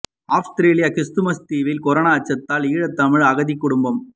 அவுஸ்ரேலிய Christmas தீவில் corona அச்சத்தில் ஈழத் தமிழ் அகதி குடும்பம்